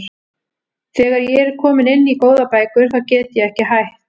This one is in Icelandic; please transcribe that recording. Þegar ég er komin inn í góðar bækur þá get ég ekki hætt.